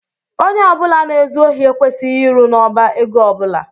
Ónyé ọbula na ezu ohi ekwesịghị ịrụ n' ọbá égo ọbula.